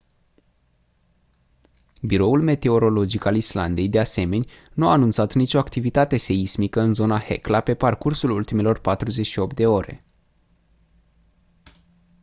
biroul meteorologic al islandei de asemeni nu a anunțat nicio activitate seismică în zona hekla pe parcursul ultimelor 48 de ore